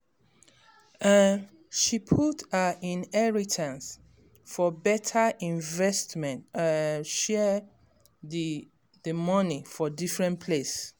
um she put her inheritance for better investment um and share d d money for different place